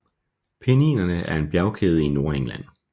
Penninerne er en bjergkæde i Nordengland